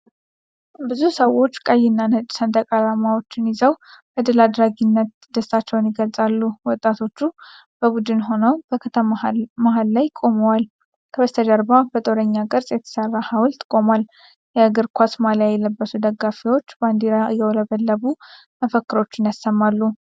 ብዙ ሰዎች ቀይና ነጭ ሰንደቅ ዓላማዎችን ይዘው በድል አድራጊነት ደስታቸውን ይገልጻሉ። ወጣቶች በቡድን ሆነው በከተማ መሀል ቦታ ላይ ቆመዋል። ከበስተጀርባ በጦረኛ ቅርጽ የተሰራ ሐውልት ቆሟል። የእግር ኳስ ማሊያ የለበሱ ደጋፊዎች ባንዲራ እያውለበለቡ መፈክሮችን ያሰማሉ።